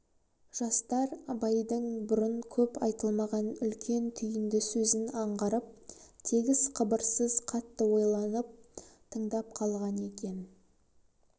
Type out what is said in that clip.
жастар абайдың бұрын көп айтылмаған үлкен түйінді сөзін аңғарып тегіс қыбырсыз қатты ойланып тындап қалған екен